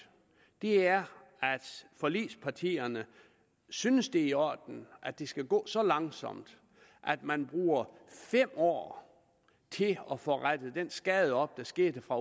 er at forligspartierne synes det er i orden at det skal gå så langsomt at man bruger fem år til at få rettet den skade op der skete fra